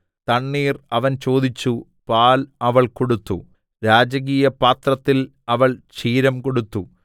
തണ്ണീർ അവൻ ചോദിച്ചു പാൽ അവൾ കൊടുത്തു രാജകീയപാത്രത്തിൽ അവൾ ക്ഷീരം കൊടുത്തു